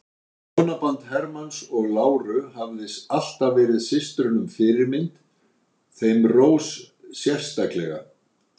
Hjónaband Hermanns og láru hafði alltaf verið systrunum fyrirmynd, þeim Rós sérstaklega.